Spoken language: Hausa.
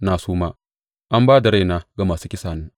Na suma; an ba da raina ga masu kisana.